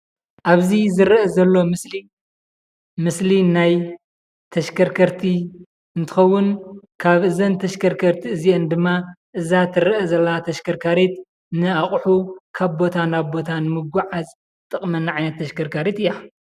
ኣብዚ ዝረአ ዘሎ ምስሊ ምስሊ ናይ ተሽከርከርቲ እንትኸውን ካብ እዘን ተሽከርከርቲ እዚአን ድማ እዛ ትረአ ዘላ ተሽከርካሪት ንኣቑሑ ካብ ቦታ ንምጉዓዝ ትጠቕመና ዓይነት ተሽከርካሪት እያ።